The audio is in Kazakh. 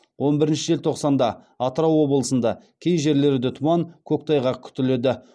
он бірінші желтоқсанда атырау облысында кей жерлерде тұман көктайғақ күтіледі